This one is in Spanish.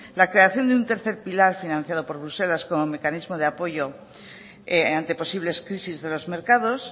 la creación de un tercer pilar financiado por bruselas como mecanismo de apoyo ante posibles crisis de los mercados